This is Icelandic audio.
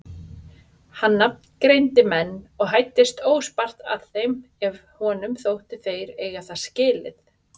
Hann nafngreindi menn og hæddist óspart að þeim ef honum þótti þeir eiga það skilið.